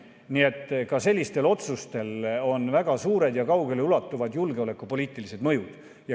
Nii et ka sellistel otsustel on väga suured ja kaugele ulatuvad julgeolekupoliitilised mõjud.